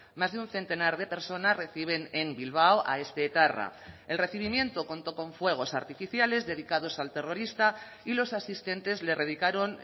más de un centenar de personas reciben en bilbao a este etarra el recibimiento contó con fuegos artificiales dedicados al terrorista y los asistentes le dedicaron